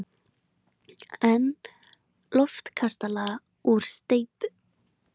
En loftkastala úr steypu!